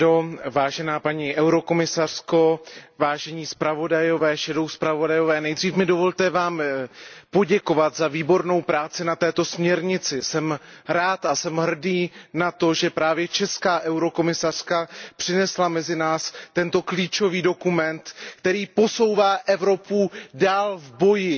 Pane předsedající, paní komisařko, vážení zpravodajové a stínoví zpravodajové, nejdříve mi dovolte vám poděkovat za výbornou práci na této směrnici. Jsem rád a jsem hrdý na to, že právě česká komisařka přinesla mezi nás tento klíčový dokument, který posouvá Evropu dál v boji